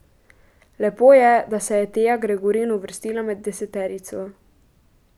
Lepo je, da se je Teja Gregorin uvrstila med deseterico.